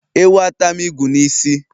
Ewu atam ịgụ n'isi